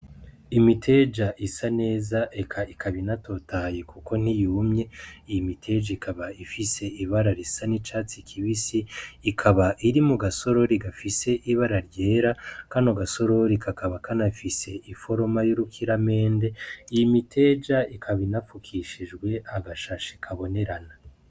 Imiteja isa neza eka ikaba inatotahaye Kuko ntiyumye, iyi miteja ikaba ifise ibara risa n’icatsi kibisi , ikaba iri mugasorori gafise ibara ryera , kano gasorori kakaba kanafise iforoma y’urukiramende . Iyi miteja ikaba inafukishijwe agashashe kabinerana.